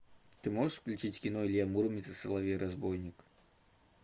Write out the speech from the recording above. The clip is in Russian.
ты можешь включить кино илья муромец и соловей разбойник